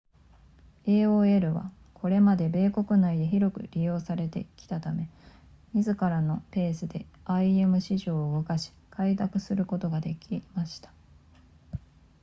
aol はこれまで米国内で広く利用されてきたため自らのペースで im 市場を動かし開拓することができました